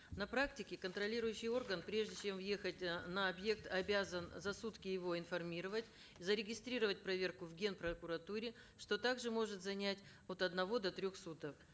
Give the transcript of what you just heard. на практике контролирующий орган прежде чем въехать э на объект обязан за сутки его информировать зарегистрировать проверку в ген прокуратуре что также может занять от одного до трех суток